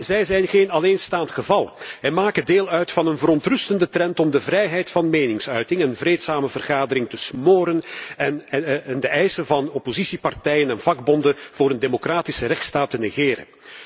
Zij zijn echter geen alleenstaand geval en maken deel uit van een verontrustende trend om de vrijheid van meningsuiting en vreedzame vergadering te smoren en de eisen van oppositiepartijen en vakbonden met betrekking tot een democratische rechtsstaat te negeren.